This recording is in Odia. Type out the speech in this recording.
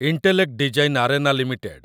intellect design arena limited